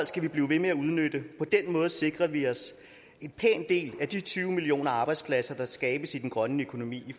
skal vi blive ved med at udnytte på den måde sikrer vi os en pæn del af de tyve millioner arbejdspladser der skabes i den grønne økonomi